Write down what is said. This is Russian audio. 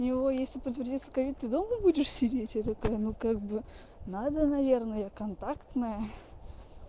у него если подтвердится ковид ты долго будешь сидеть и такая ну как бы надо наверное контактное